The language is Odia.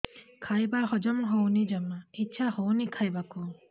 ଖାଇବା ହଜମ ହଉନି ଜମା ଇଛା ହଉନି ଖାଇବାକୁ